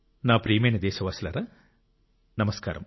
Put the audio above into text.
నా ప్రియమైన దేశవాసులారా నమస్కారం